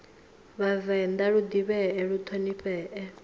vhavenḓa lu ḓivhee lu ṱhonifhee